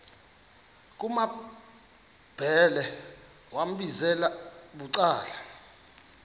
kumambhele wambizela bucala